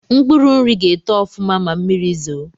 Mkpuru nri ga-eto ọfụma ma mmiri zoo